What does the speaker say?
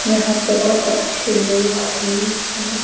यहां पर कुछ लोग भी हैं।